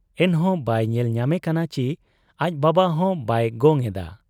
ᱮᱱᱦᱚᱸ ᱵᱟᱭ ᱧᱮᱞ ᱧᱟᱢᱮ ᱠᱟᱱᱟ ᱪᱤ ᱟᱡ ᱵᱟᱵᱟᱦᱚᱸ ᱵᱟᱭ ᱜᱚᱝ ᱮᱫᱟ ᱾